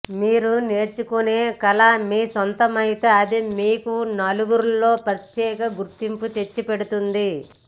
మీరు నేర్చుకునే కళ మీ సొంతమైతే అది మీకు నలుగురిలో ప్రత్యేక గుర్తింపు తెచ్చిపెడుతుంది